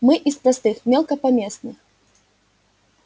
мы из простых мелкопоместных